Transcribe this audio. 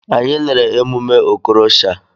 Anyị lere emume Okorosha.